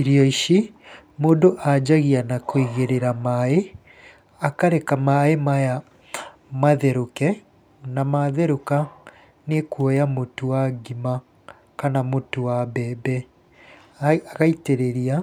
Irio ici, mũndũ anjagia na kũigĩrĩra maaĩ, akareka maaĩ maya matherũke, na matherũka nĩ kuoya mũtu wa ngima kana mũtu wa mbembe, agaitĩrĩria,